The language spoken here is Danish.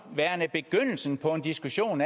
værende begyndelsen på en diskussion om